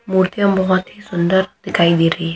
मूर्तिंया बहुत ही सुन्दर दिखाई दे रही है।